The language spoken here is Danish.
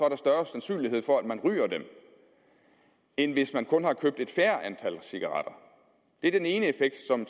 har for at man ryger dem end hvis man har købt et færre antal cigaretter det er den ene effekt som